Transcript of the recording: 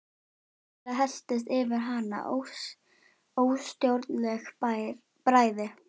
Skyndilega helltist yfir hana óstjórnleg bræði.